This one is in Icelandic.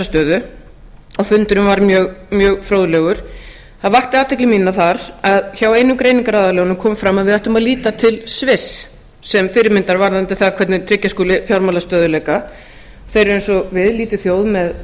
stöðu og fundurinn var mjög fróðlegur það vakti athygli mína þar að hjá einum greiningaraðilanum kom fram að við ættum að líta til sviss sem fyrirmyndar varðandi það hvernig tryggja skuli fjármálastöðugleika þeir eru eins og við lítil þjóð